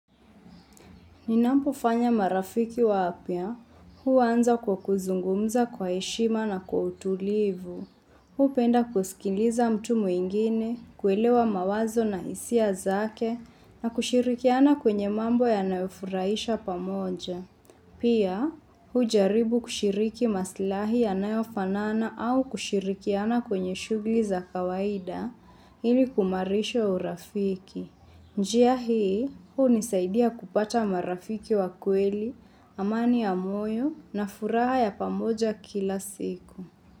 Ninapofanya marafiki wapya, huanza kwa kuzungumza kwa heshima na kwa utulivu. Hupenda kusikiliza mtu mwingine, kuelewa mawazo na hisia zake na kushirikiana kwenye mambo yanayofurahisha pamoja. Pia, hujaribu kushiriki maslahi yanayofanana au kushirikiana kwenye shughuli za kawaida ili kuimarisha urafiki. Njia hii, hunisaidia kupata marafiki wa kweli, amani ya moyo na furaha ya pamoja kila siku.